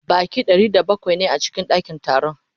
Baƙi Ɗari da bakwai ne a cikin ɗakin taron